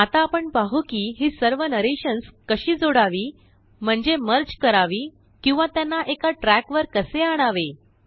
आता आपण पाहू कि हि सर्वनरेशंस कशी जोडावी म्हणजे मर्ज करावी किंवा त्यांनाएकाट्रैक वर कसे आणावे